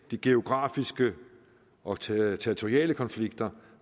de geografiske og territoriale konflikter